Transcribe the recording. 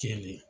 Kelen